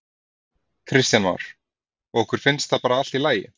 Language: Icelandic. Kristján Már: Og ykkur finnst það bara allt í lagi?